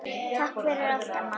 Takk fyrir allt, amma.